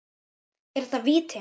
Er þetta víti?